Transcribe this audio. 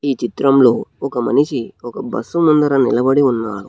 ఈ చిత్రంలో ఒక మనిషి ఒక బస్సు ముందర నిలబడి ఉన్నారు.